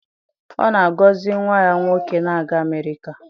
Ọ na-agọzi nwa ya nwoke na-aga Amerịka?